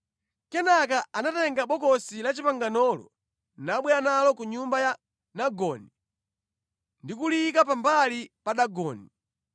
Kenaka anatenga Bokosi la Chipanganolo nabwera nalo ku nyumba ya Dagoni ndi kuliyika pambali pa Dagoni.